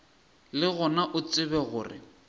le gona o tsebe gore